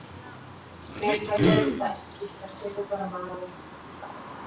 Nei það gerði það ekki, það kemur bara maður í manns stað.